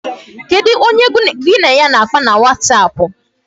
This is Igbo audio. Kedu onye gị na ya na-akpa na wasapụ?